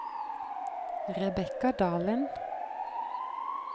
Rebekka Dalen